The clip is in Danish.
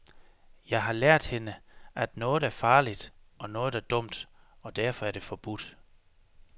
Jeg har lært hende, at noget er farligt, og noget er dumt, og derfor er det forbudt.